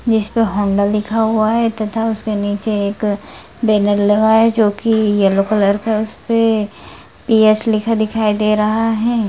जिसपे पे होंडा लिखा हुआ हे तथा उसके नीचे एक बैनर लगा है जो की येलो कलर का है उसपे यस लिखा दिखाई दे रहा हे ।